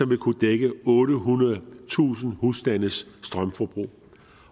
vil kunne dække ottehundredetusind husstandes strømforbrug